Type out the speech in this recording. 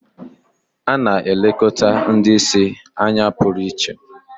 A na-elekọta ndị ìsì anya pụrụ iche